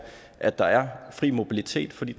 at der er fri mobilitet for det